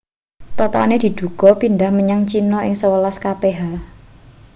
topane diduga pindhah menyang china ing sewelas kph